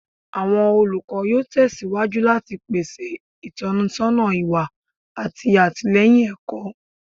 Awọn olukọ yoo tẹsiwaju lati pese itọnisọna iwa ati atilẹyin ẹkọ